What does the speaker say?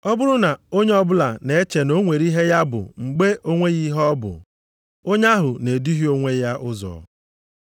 Ọ bụrụ na onye ọbụla na-eche na o nwere ihe ya bụ mgbe o nweghị ihe ọ bụ, onye ahụ na-eduhie onwe ya ụzọ.